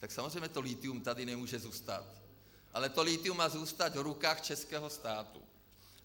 Tak samozřejmě to lithium tady nemůže zůstat, ale to lithium má zůstat v rukou českého státu.